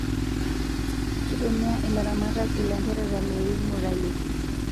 Kitumia ilaramatak ilanterera loingurayoki